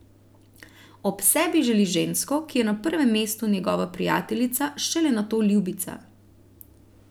Ob sebi želi žensko, ki je na prvem mestu njegova prijateljica, šele nato ljubica.